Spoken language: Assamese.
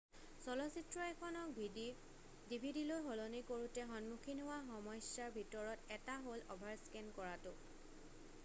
চলচিত্ৰ এখনক ডিভিডিলৈ সলনি কৰোতে সন্মুখীন হোৱা সমস্যাৰ ভিতৰত এটা হ'ল অভাৰস্কেন কৰাটো